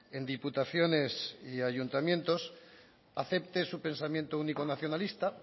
en diputaciones y ayuntamientos acepte su pensamiento único nacionalista